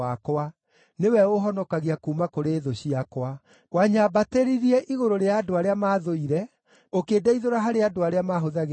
nĩwe ũũhonokagia kuuma kũrĩ thũ ciakwa. Wanyambatĩririe igũrũ rĩa andũ arĩa maathũire, ũkĩndeithũra harĩ andũ arĩa mahũthagĩra hinya.